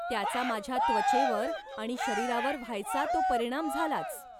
त्याचा माझ्या त्वचेवर आणि शरीरावर व्हायचा तो परिणाम झालाच.